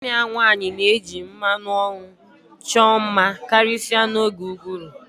Nwanne ya nwanyị na-eji mmanụ ọnụ chọọ mma karịsịa n'oge ụgụrụ